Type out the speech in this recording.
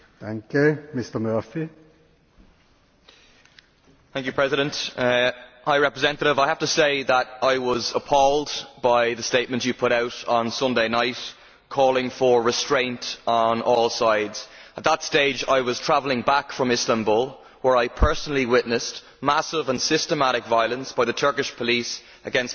Mr President, I would like to say to the High Representative that I was appalled by the statements she put out on Sunday night calling for restraint on all sides. At that stage I was travelling back from Istanbul where I personally witnessed massive and systematic violence by the Turkish police against protesters.